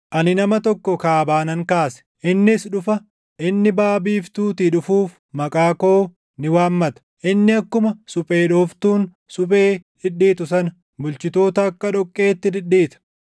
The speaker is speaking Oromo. “Ani nama tokko kaabaa nan kaase; innis dhufa; inni baʼa biiftuutii dhufus maqaa koo ni waammata. Inni akkuma suphee dhooftuun suphee dhidhiitu sana, bulchitoota akka dhoqqeetti dhidhiita.